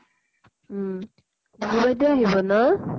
উম আহিব ন?